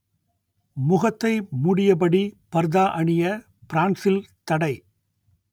முகத்தை மூடியபடி பர்தா அணிய பிரான்சில் தடை